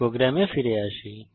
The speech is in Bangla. প্রোগ্রামে ফিরে আসি